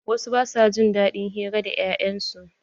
Wasu ba su jin daɗin hira da 'ya'yan su.